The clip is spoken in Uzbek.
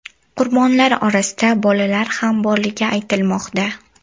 Qurbonlar orasida bolalar ham borligi aytilmoqda.